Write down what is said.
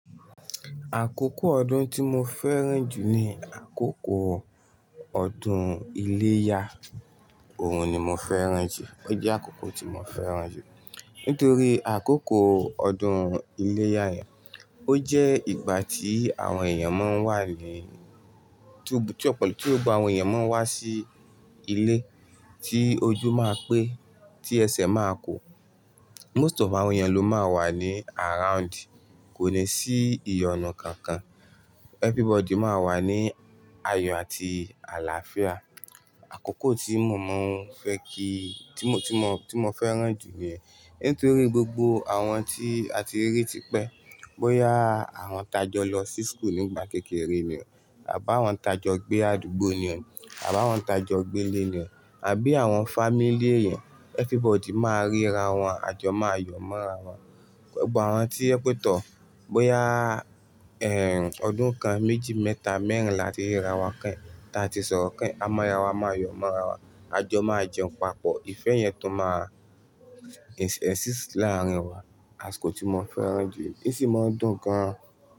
Àkókò ọdún tí mo fẹ́ràn jù ni àkókò ọdún iléyá òun ni mo fẹ́ràn jù. Ó jẹ́ àkókò tí mo fẹ́ràn jù nítorí àkókò ọdún iléyá yẹn, ó jẹ́ ìgbà tí àwọn èèyàn máa ń wà ní-- tí ó ti, tí ó gba àwọn èèyàn máa wá sí ilé, tí ojú máa pé, tí ẹsẹ̀ máa kó. Most of àwọn èèyàn ló máa wà ní around, kò ní sí ìyọnu kankan. Everybody máa wà ní ayọ̀ àti àlàáfíà. Àkókò tí mo máa ń fẹ́ kí, tí mo, tí mo, tí mo fẹ́ràn jù ni yẹn. Nítorí gbogbo àwọn tí a ti rí tipẹ́, bóyá àwọn tajọ lọ sí school nígbà kékeré ni ọ̀nà, àbí àwọn tajọ gbé àdúgbò ni ọ̀nà, àbí àwọn tajọ gbé ilé ni ọ̀nà, àbí àwọn family ẹni, everybody máa ríra wọn, àjọ máa yọ̀ mọ́ra wọn. Gbogbo àwọn tí ó pẹ́ tọ̀, bóyá, ẹ, ọdún kan, méjì, mẹ́ta, mẹ́rìnlá ti ríra wọn kíẹ́n, ta tí sọ̀rọ̀ kíẹ́n, a mọ ara wa, a máa yọ̀ mọ́ra wa, àjọ máa jẹun papọ̀. Ìfẹ́ yẹn tó máa e-exist láàárín wa, àsìkò tí mo fẹ́ràn jù, ó sì máa dùn gan.